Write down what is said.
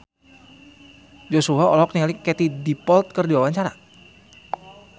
Joshua olohok ningali Katie Dippold keur diwawancara